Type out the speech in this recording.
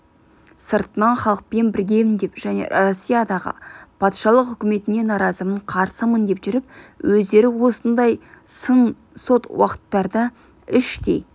сыртынан халықпен біргемін деп және россиядағы патшалық үкіметіне наразымын қарсымын деп жүріп өздері осындай сын сот уақыттарда іштей